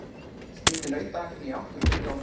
Skiptið nautahakkinu í átta hluta og mótið bollur.